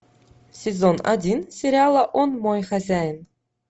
сезон один сериала он мой хозяин